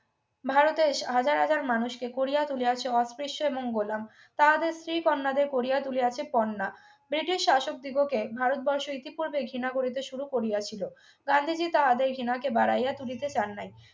ভারতের হাজার হাজার মানুষকে গড়িয়া তুলিয়াছেন এবং গোলাম তাহাদের স্ত্রী কন্যাদের করিয়া তুলিয়াছে কন্যা british শাসকদিগকে ভারত বর্ষ ইতিপূর্বেই ঘৃণা করিতে শুরু করিয়াছিল গান্ধীজি তার আদেশ ঘৃণাকে বাড়াইয়া তুলিতে চান নাই